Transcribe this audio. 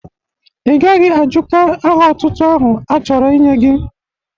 Ị gaghị ajụka aha ọtụtụ ahụ a chọrọ inye gi!